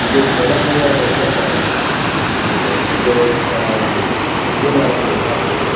ಇದು Yenepoya dental college ಅದು ಇದು ಅಹ್ ಹಲ್ಲಿನ ಇದು ಆಸ್ಪತ್ರೆ